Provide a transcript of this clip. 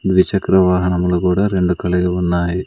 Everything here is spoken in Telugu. ద్విచక్ర వాహనములు కూడా రెండు కలిగి ఉన్నాయి.